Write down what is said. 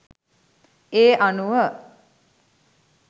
ඒ අනුව